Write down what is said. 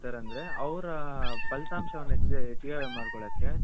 ಅವರ ಪಲಿತಾಂಶವನ್ನು ಹೆಚ್ಚಿಗೆ ಹೆಚ್ಚಿಗೆ ಮಡ್ಕೊಲ್ಲಕೆ .